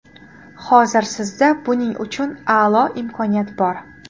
Hozir sizda buning uchun a’lo imkoniyat bor.